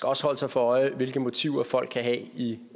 også holde sig for øje hvilke motiver folk kan have i